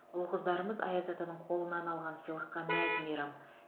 ұл қыздарымыз аяз атаның қолынан алған сыйлыққа мәз мейрам